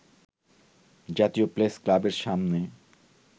জাতীয় প্রেসক্লাবের সামনে